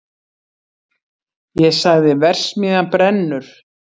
Ég sagði: verksmiðjan brennur!